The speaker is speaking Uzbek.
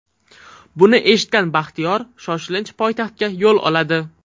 Buni eshitgan Baxtiyor shoshilinch poytaxtga yo‘l oladi.